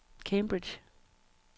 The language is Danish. Cambridge